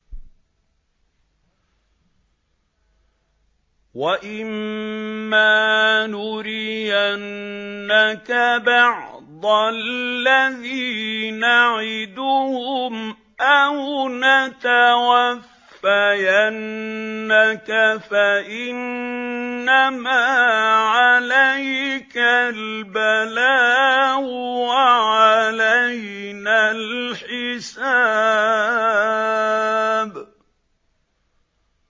وَإِن مَّا نُرِيَنَّكَ بَعْضَ الَّذِي نَعِدُهُمْ أَوْ نَتَوَفَّيَنَّكَ فَإِنَّمَا عَلَيْكَ الْبَلَاغُ وَعَلَيْنَا الْحِسَابُ